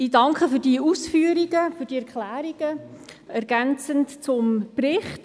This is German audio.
Ich danke für diese Ausführungen und Erklärungen ergänzend zum Bericht.